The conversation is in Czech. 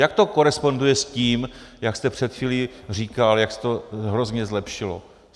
Jak to koresponduje s tím, jak jste před chvílí říkal, jak se to hrozně zlepšilo?